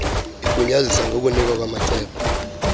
igunyazisa ngokunikwa kwamacebo